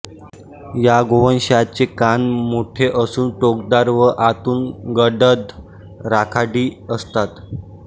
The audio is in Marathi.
या गोवंशाचे कान मोठे असून टोकदार व आतून गडद राखाडी असतात